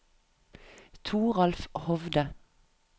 Toralf Hovde